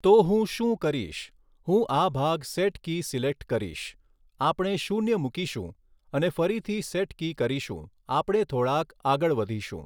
તો હું શું કરીશ હું આ ભાગ સેટ કી સિલેક્ટ કરીશ આપણે શૂન્ય મૂકીશું અને ફરીથી સેટ કી કરીશું આપણે થોડાક આગળ વધીશું.